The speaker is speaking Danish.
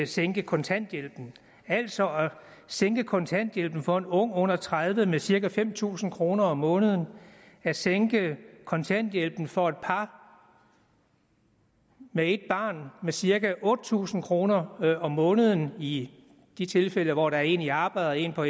sænke kontanthjælpen altså at sænke kontanthjælpen for en ung under tredive år med cirka fem tusind kroner om måneden at sænke kontanthjælpen for et par med et barn med cirka otte tusind kroner om måneden i de tilfælde hvor der er en i arbejde og en på